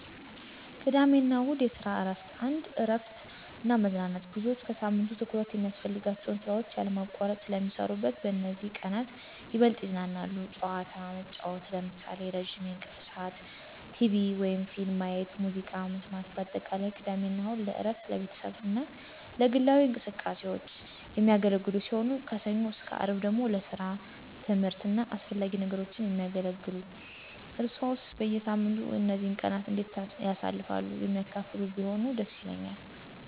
ቅድሚያ አና እሁድ (የሰራ እረፍት ) 1, እረፍት እና መዝናናት _ብዙዎች ከሳምንቱ ትኩረት የሚያስፈልጋቸውን ስራዎች ያለማቋረጥ ስለ ሚሰረነት በዚህም በዚህ ቀነት ይበልጥ ይዝናናሉ። ጨዋታ መጨዉት ለምሳሌ፦ ረዝም የእንቅልፍ ስዓት፣ ቴቪ/ፊልም ማየት፣ ሙዝቃ መሰማት በአጠቃላይ፦ ቅድሜ አና እሁድ ለእረፍት፣ ለቤተሰቡ አና ለግላዊ እንቅስቃሴዎች። የሚያገለግሉ ሲሆን፣ ሰኞ _አርብ ደግሞ ለሰራ፣ ትምህርት አና አሰፈላጊ ነገሮች የሚያገለግሉ። እርሰዋሰ በየሳምንቱ እነዚህን ቀናት እንዴት ታሳልፍሉ የሚያካፍሉ ብትሆኑ ደስ ይለኛል።